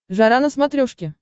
жара на смотрешке